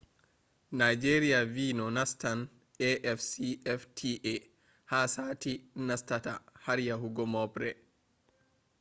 nigeria vi no nastan afcfta ha sati nastata har yahugo moobre